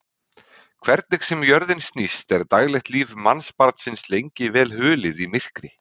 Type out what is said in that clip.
Hvernig sem jörðin snýst er daglegt líf mannsbarnsins lengi vel hulið í myrkri.